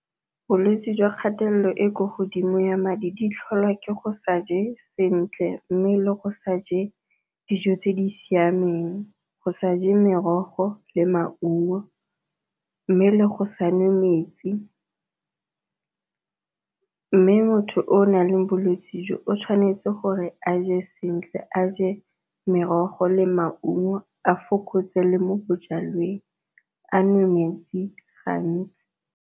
Bolwetse jwa kgatelelo e kwa godimo ya madi di tlholwa ke go sa je sentle, mme le go sa je dijo tse di siameng go sa je merogo le maungo mme le go sa nwe metsi. Mme motho o o nang le bolwetse jo o tshwanetse gore a je sentle a je merogo le maungo, a fokotse le mo bojalweng a nwe metsi gantsi.